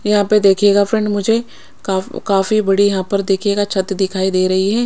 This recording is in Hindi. यहां पे देखियेगा फ्रेंड मुझे काफ काफी बड़ी यहां पर देखियेगा छत दिखाई दे रही हैं।